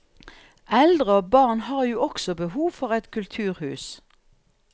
Eldre og barn har jo også behov for et kulturhus.